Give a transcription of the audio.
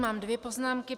Mám dvě poznámky.